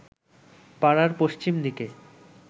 পাড়ার পশ্চিম দিকে